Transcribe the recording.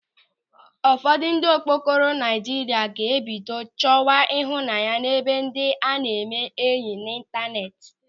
Ụfọdụ ndị okokporo Naịjirịa ga-ebido chọwa ịhụnanya ebe ndị a na-eme enyị n'ịntaneti.